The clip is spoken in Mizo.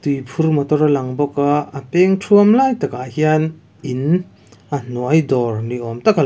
tui phur motor alang bawk a a peng thuam lai takah hian in a hnuai dawr niawm tak alang.